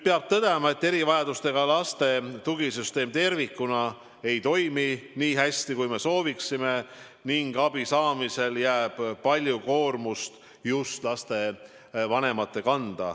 Peab tõdema, et erivajadusega laste tugisüsteem tervikuna ei toimi nii hästi, kui sooviksime, ning abi saamisel jääb palju koormust just lastevanemate kanda.